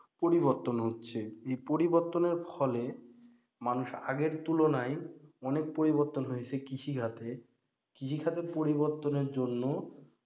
পরিবর্তন হচ্ছে, এই পরিবর্তনের ফলে মানুষ আগের তুলনায় অনেক পরিবর্তন হয়েছে কৃষিখাতে। কৃষিখাতে পরিবর্তনের জন্য,